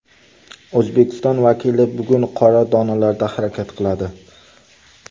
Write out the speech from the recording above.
O‘zbekiston vakili bugun qora donalarda harakat qiladi.